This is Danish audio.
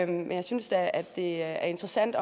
men jeg synes da at det er interessant